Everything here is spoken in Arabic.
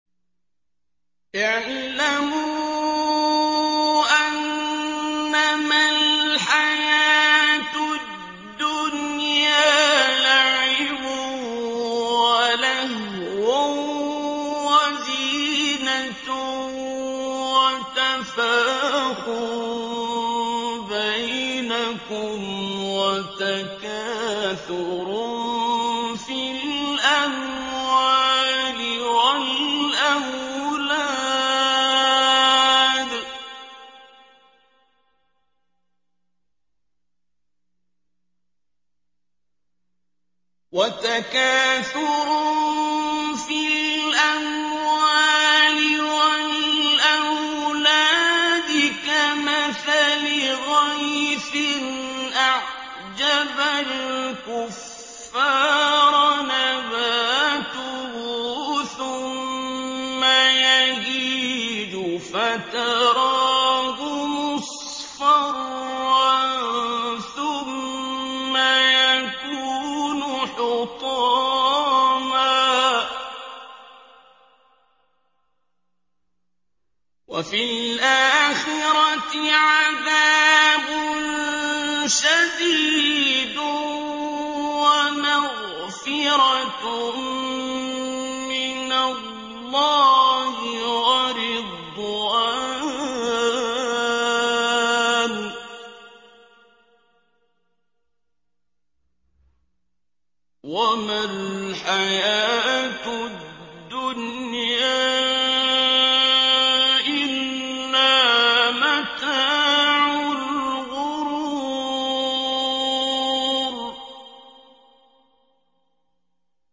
اعْلَمُوا أَنَّمَا الْحَيَاةُ الدُّنْيَا لَعِبٌ وَلَهْوٌ وَزِينَةٌ وَتَفَاخُرٌ بَيْنَكُمْ وَتَكَاثُرٌ فِي الْأَمْوَالِ وَالْأَوْلَادِ ۖ كَمَثَلِ غَيْثٍ أَعْجَبَ الْكُفَّارَ نَبَاتُهُ ثُمَّ يَهِيجُ فَتَرَاهُ مُصْفَرًّا ثُمَّ يَكُونُ حُطَامًا ۖ وَفِي الْآخِرَةِ عَذَابٌ شَدِيدٌ وَمَغْفِرَةٌ مِّنَ اللَّهِ وَرِضْوَانٌ ۚ وَمَا الْحَيَاةُ الدُّنْيَا إِلَّا مَتَاعُ الْغُرُورِ